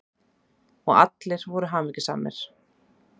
Og allir voru hamingjusamir.